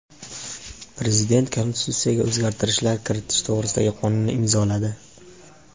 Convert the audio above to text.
Prezident Konstitutsiyaga o‘zgartishlar kiritish to‘g‘risidagi qonunni imzoladi.